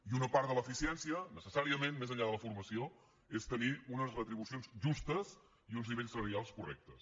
i una part de l’eficiència necessàriament més enllà de la formació és tenir unes retribucions justes i uns nivells salarials correctes